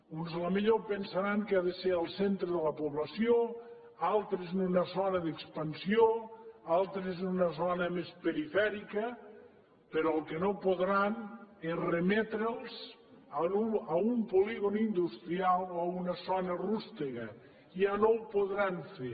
uns potser pensaran que ha de ser al centre de la població altres en una zona d’expansió altres en una zona més perifèrica però el que no podran és remetre’ls a un polígon industrial o a una zona rústega ja no ho podran fer